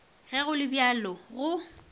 ge go le bjalo go